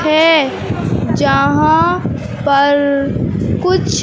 है जहां पर कुछ--